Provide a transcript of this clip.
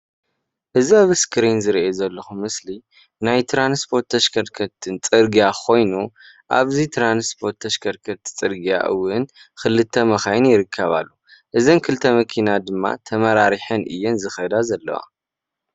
እዚ ኣብ ስክሪን ዝረአ ዘሎ ምስሊ ናይ ትራንስፖርት ተሽከርከርትን ፅርግያ ኾይኑ ኣብዚ ትራንስፖርት ተሽከርከርቲ ፅርግያ እውን ክልተ መካይን ይርከባ፡፡ እዘን ክልተ መኪና ድማ ተመራሪሐን እየን ዝኸዳ ዘለዋ፡፡